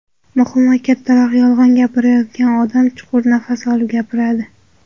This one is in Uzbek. Muhim va kattaroq yolg‘on gapirayotgan odam chuqur nafas olib gapiradi.